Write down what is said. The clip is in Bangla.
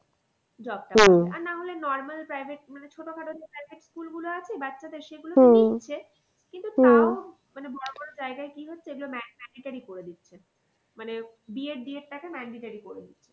Job আর না হলে normal package মানে ছোটো খাটো যে package school আছে বাচ্চাদের সেগুলোতে কিন্তু মানে বড়ো বড়ো জায়াগায় কি হচ্ছে এইগুলো করে দিচ্ছে। মানে বিএড ডিএড টাকে mandatory করে দিচ্ছে।